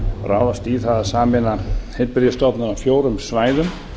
ráðast í það að sameina heilbrigðisstofnanir á fjórum svæðum